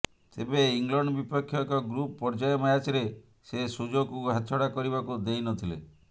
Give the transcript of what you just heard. ତେବେ ଇଂଲଣ୍ଡ୍ ବିପକ୍ଷ ଏକ ଗ୍ରୁପ୍ ପର୍ଯ୍ୟାୟ ମ୍ୟାଚ୍ରେ ସେ ସୁଯୋଗକୁ ହାତଛଡ଼ା କରିବାକୁ ଦେଇନଥିଲେ